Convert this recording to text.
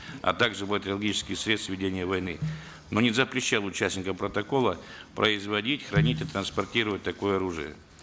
а также бактериологические средства ведения войны но не запрещал участникам протокола производить хранить и транспортировать такое оружие